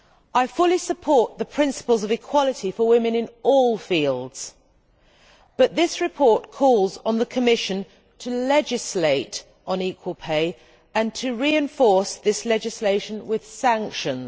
I fully support the principles of equality for women in all fields, but this report calls on the Commission to legislate on equal pay and to reinforce this legislation with sanctions.